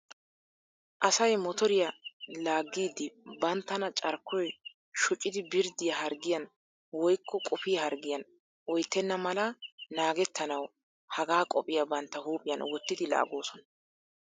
Asay motoriya laaggiiddi banttana carkkoy shocidi birddiya harggiyan woykko qufiya harggiyan oyttenna mala naagettanawu hagaa qophiya bantta huuphiyan wottidi laaggoosona.